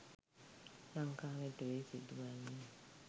ලංකාව ඇතුළේ සිදුවන්නේ.